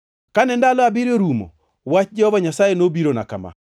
Kane ndalo abiriyo orumo, wach Jehova Nyasaye nobirona kama: